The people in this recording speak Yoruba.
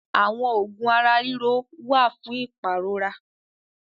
Àwọn oògùn ara-ríro wà fún ìpàrora.